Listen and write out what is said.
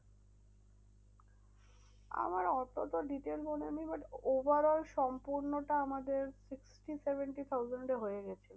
আমার অতটা detail মনে নেই overall সম্পূর্ণটা আমাদের sixty, seventy thousand এ হয়ে গেছিল।